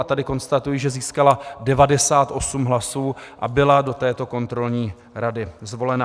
A tady konstatuji, že získala 98 hlasů a byla do této kontrolní rady zvolena.